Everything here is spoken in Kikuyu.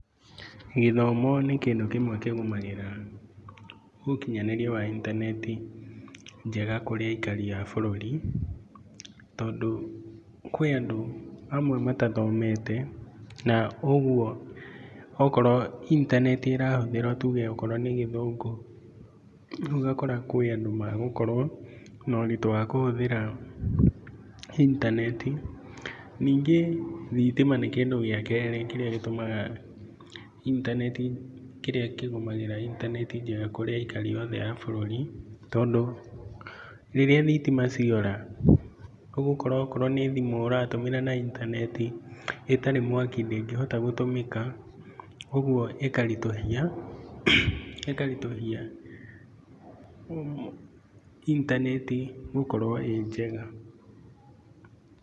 Gĩthomo nĩ kĩndũ kĩmwe kĩgumagĩra ũkinyanĩria wa intaneti njega kũrĩ aikari a bũrũri, tondũ kwĩ andũ amwe matathomete naũguo okorwo intaneti nĩrahũthĩrwa tuge akorwo nĩ gĩthungũ, rĩu ũgakora kwĩ andũ magũkorwo naũritũ kwa kũhũthĩra intaneti. Ningĩ ,thitima nĩ kĩndũ gĩa kerĩ kĩrĩa kĩgũmagagĩra intaneti kũrĩ aikari othe a bũrũri, tondũ rĩrĩa thitima ciora, ũgũkora okorwo nĩ thimũ ũratũmĩra na intaneti ĩtarĩ mwaki ndĩngĩhota gũtũmĩka ũguo ĩkarithũia inaneti gũkorwo ĩ njega.